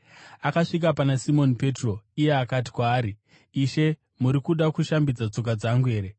Akasvika pana Simoni Petro, iye akati kwaari, “Ishe muri kuda kushambidza tsoka dzangu here?”